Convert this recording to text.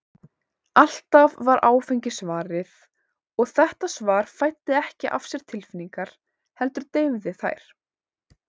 Alltaf var áfengi svarið, og þetta svar fæddi ekki af sér tilfinningar, heldur deyfði þær.